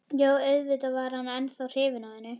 Jú, auðvitað var hann ennþá hrifinn af henni.